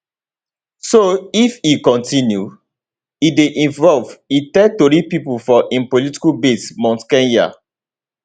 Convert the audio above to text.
so if e kontinu e dey involve e tell tori pipo for im political base mount kenya